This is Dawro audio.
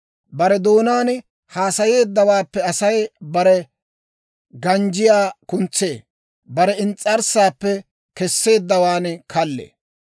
Bare doonaan haasayeeddawaappe Asay bare ganjjiyaa kuntsee; bare ins's'arssaappe keseeddawaan kallee.